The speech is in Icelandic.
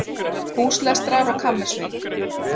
Húslestrar og kammersveit